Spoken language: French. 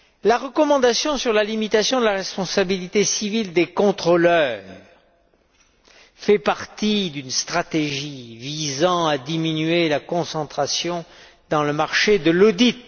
La recommandation sur la limitation de la responsabilité civile des contrôleurs fait partie d'une stratégie visant à diminuer la concentration dans le marché de l'audit.